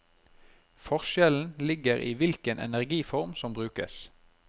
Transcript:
Forskjellen ligger i hvilken energiform som brukes.